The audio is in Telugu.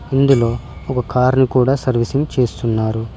ఇందులో ఒక కారు ని కూడా సర్వీసింగ్ చేస్తున్నారు.